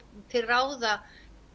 til ráða